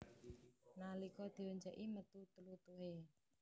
Nalika dioncèki metu tlutuhé